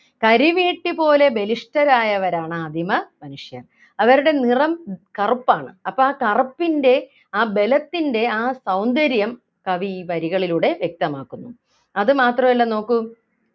കരിവീട്ടി പോലെ ബലിഷ്‌ടരായവരാണ് ആദിമ മനുഷ്യൻ അവരുടെ നിറം കറുപ്പാണ് അപ്പൊ ആ കറുപ്പിൻ്റെ ആ ബലത്തിൻ്റെ ആ സൗന്ദര്യം കവി ഈ വരികളിലൂടെ വ്യക്തമാക്കുന്നു അതുമാത്രമല്ല നോക്കൂ